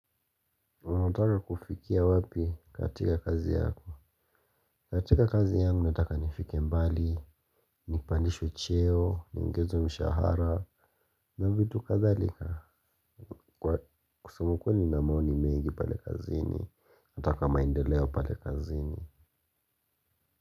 Unataka kufikia wapi katika kazi yako. Katika kazi yangu nataka nifike mbali. Nipandishwe cheo, niongezo mshahara na vitu kadhalika. Kwa kusema ukweli nina maoni mengi pale kazi nataka maendeleo pale kazini.